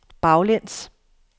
baglæns